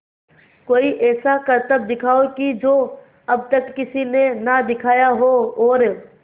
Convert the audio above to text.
कोई ऐसा करतब दिखाओ कि जो अब तक किसी ने ना दिखाया हो और